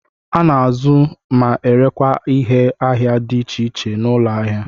A na-azụ ma erekwa ihe ahịa dị iche iche n'ụlọ ahia.